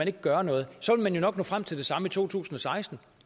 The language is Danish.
kan gøre noget så vil man jo nok nå frem til det samme i to tusind og seksten